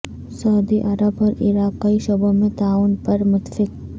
سعودی عرب اور عراق کئی شعبوں میں تعاون پر متفق